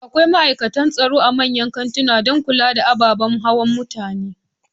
Akwai ma'aikatan tsaro a manyan kantikan dan kula da abubuwan hawa na mutane